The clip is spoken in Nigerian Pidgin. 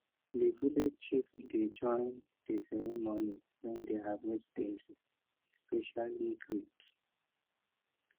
di village chief dey join di ceremony when di harvest dey especially great